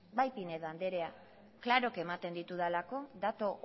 pinedo anderea klaro ematen ditudala datu